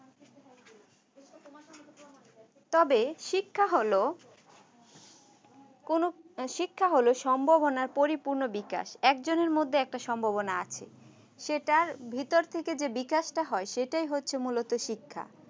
তবে শিক্ষা হলো কোনো শিক্ষা হলো সম্ভাবনার পরিপূর্ণ বিকাশ একজনের মধ্যে একটা সম্ভাবনা আছে সে তার ভিতর থেকে যে বিকাশ টা হয় সেটাই হচ্ছে মূলত শিক্ষা